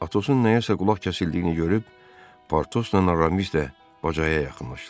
Atosun nəyəsə qulaq kəsildiyini görüb, Portosla Aramis də bacaya yaxınlaşdılar.